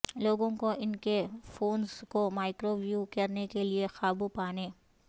لوگوں کو ان کے فونز کو مائکروویو کرنے کے لئے قابو پانے